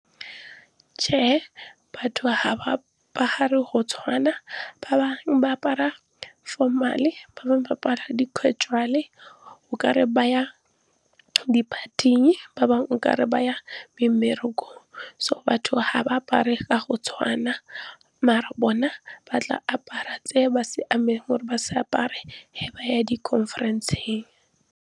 Che batho ga ba apare go tshwana ba bangwe ba apara formal-e, ba bangwe ba apara casual-e okare ba ya di-party-eng, ba bangwe okare ba ya mmerekong. So batho ga ba apare ka go tshwana maar bona ba tla apara tse ba siame gore ba se apare ge ba ya di-conference-eng.